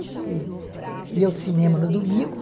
A gente ia ao cinema no domingo.